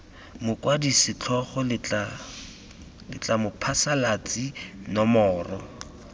mokwadi setlhogo letlha mophasalatsi nomore